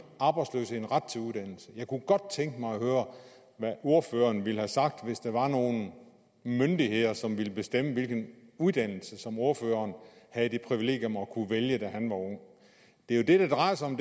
arbejdsløse en ret til uddannelse jeg kunne godt tænke mig at høre hvad ordføreren ville have sagt hvis der var nogle myndigheder som ville bestemme hvilken uddannelse ordføreren havde det privilegium at kunne vælge da han var ung det er jo det det drejer sig om